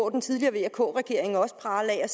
den tidligere vk regering også prale af